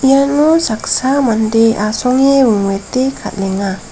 iano saksa mande asonge wingwete kal·enga.